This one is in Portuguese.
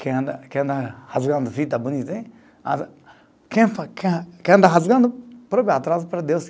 Quem anda, quem anda rasgando fita bonita, quem ficar, quem anda rasgando, próprio atraso para Deus.